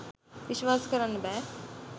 විස්වාස කරන්න බෑ